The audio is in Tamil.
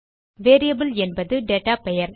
வேரியபிள் என்பது டேட்டா பெயர்